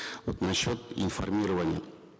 вот насчет информирования